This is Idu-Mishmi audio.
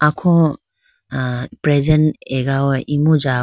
kho ah present agawa imu ja.